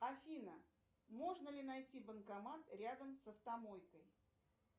афина можно ли найти банкомат рядом с автомойкой